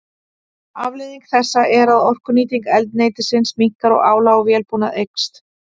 Afleiðing þessa er að orkunýting eldsneytisins minnkar og álag á vélbúnað eykst.